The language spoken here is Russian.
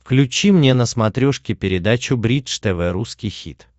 включи мне на смотрешке передачу бридж тв русский хит